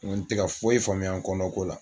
Nko tɛ ka foyi faamuya n kɔnɔko la.